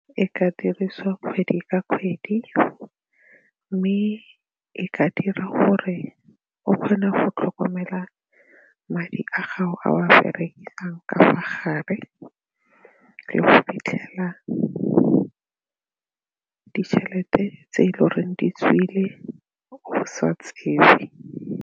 E ka dirisiwa kgwedi ka kgwedi mme e ka dira gore o kgone go tlhokomela madi a gago a o a berekisang ka mo gare le go fitlhela ditšhelete tse e le goreng di tswile go sa tsewe.